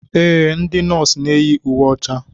Ee, ndị nọọsụ na-eyi uwe ọcha.